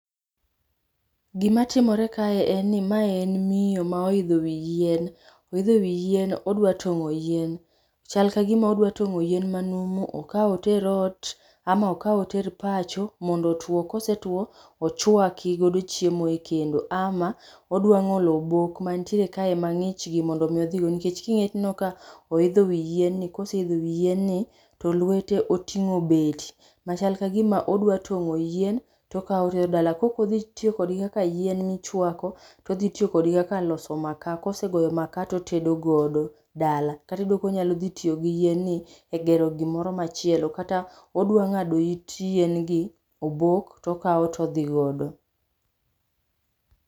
Gima timore kae en ni mae en miyo ma oidho wi yien. Oidho wi yien odwa tong'o yien. Chal kagima odwa tong'o yien manumu okaw oter ot, ama okaw oter pacho mondo otuo, kosetuo ochuaki godo chiemo e kendo, ama odwa ng'olo obok mantiere kae mang'ich gi mondo mi odhigo nikech king'iye tinenoi ka oidho wi yien ni koseidho wi yien ni, to lwete oting'o beti machal kagima odwa tong'o yien tokawo otero dala. Kokodhi tiyo kodgi kaka yien michuako, todhi tiyo kodgi kaka loso makaa, kose goyo makaa totedo godo dala. Kata iyudo konyalo dhi tiyo gi yien ni egero gimoro machielo, onya ng'ado it yien gi, obok tokawo todhi godo.